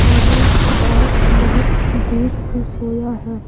और यह बाग बहुत देर से सोया है।